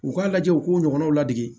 U k'a lajɛ u k'u ɲɔgɔnnaw ladege